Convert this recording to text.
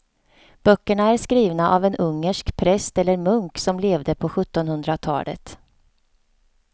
Böckerna är skrivna av en ungersk präst eller munk som levde på sjuttonhundratalet.